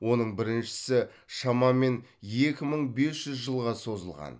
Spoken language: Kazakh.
оның біріншісі шамамен екі мың бес жүз жылға созылған